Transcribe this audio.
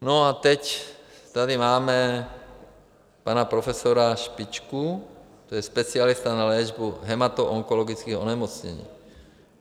No a teď tady máme pana profesora Špičku, to je specialista na léčbu hematoonkologických onemocnění.